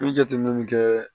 N ye jateminɛ min kɛ